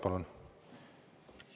Palun!